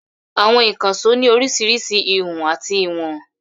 Àwọn ìkànṣó ní oríṣiríṣi ìhun àti ìwọ̀n.